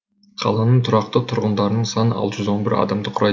қаланың тұрақты тұрғындарының саны алты жүз он бір адамды құрайды